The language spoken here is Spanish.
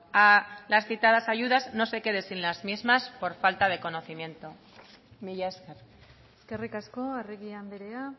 a las citadas ayudas no se quede sin las mismas por falta de conocimiento mila esker eskerrik asko arregi andrea